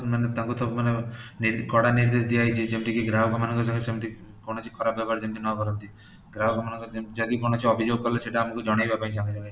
ମାନେ ତାଙ୍କୁ ତ ମାନେ କି ମାନେ କଡ଼ା ନିର୍ଦେଶ ଦିଆ ହେଇଚି ଯେମିତି କି ଗ୍ରାହକ ମାନଙ୍କ ସହିତ ସେମିତି କୌଣସି ଖରପ ବ୍ୟବହାର ଯେମିତି ନ କରନ୍ତି, ଗ୍ରାହକ ମନାକର ଯଦି କିଛି ଅଭିଯୋଗ କଲେ ସେଇଟା ଆମକୁ ଜଣାଇବା ପାଇଁ ସଙ୍ଗେ ସଙ୍ଗେ